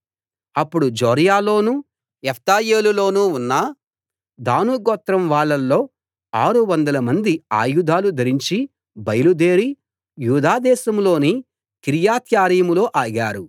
అప్పుడు జొర్యాలోనూ ఎష్తాయోలులోనూ ఉన్న దాను గోత్రం వాళ్ళలో ఆరు వందలమంది ఆయుధాలు ధరించి బయలుదేరి యూదా దేశం లోని కిర్యత్యారీములో ఆగారు